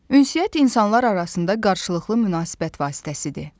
Ünsiyyət insanlar arasında qarşılıqlı münasibət vasitəsidir.